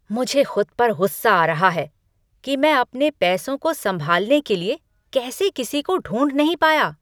मुझे खुद पर गुस्सा आ रहा है कि मैं अपने पैसों को संभालने के लिए कैसे किसी को ढूंढ नहीं पाया।